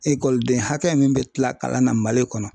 Ekɔliden hakɛ min bɛ kila kalan na Mali kɔnɔ